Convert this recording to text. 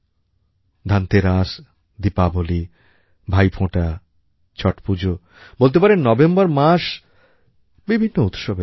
ধনতেরাস দীপাবলি ভাইফোঁটা ছট পুজো বলতে পারেন নভেম্বর মাস বিভিন্ন উৎসবেরও মাস